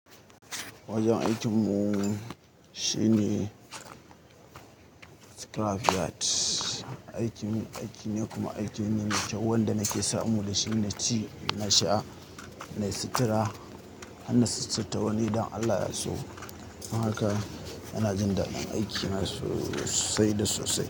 Wajen aikin mu shine scrapyard, aiki mu aiki ne kuma aiki ne me kyau wanda nake samu da shi. Naci, na sha, na yi sutura, hana suturta wani idan Allah yaso. Don haka ana jin daɗin aiki na sosai da sosai.